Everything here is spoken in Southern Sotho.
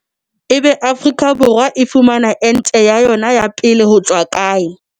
Ebe Afrika Borwa e fumana ente ya yona ya pele hotswa kae?